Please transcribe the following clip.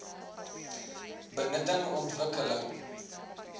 benutting ontwik keling